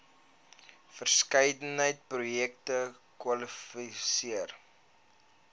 verskeidenheid projekte kwalifiseer